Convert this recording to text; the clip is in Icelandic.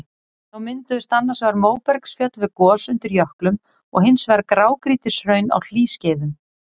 Þá mynduðust annars vegar móbergsfjöll við gos undir jöklum og hins vegar grágrýtishraun á hlýskeiðum.